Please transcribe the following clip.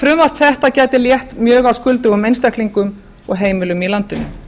frumvarp þetta gæti létt mjög á skuldugum einstaklingum og heimilum í landinu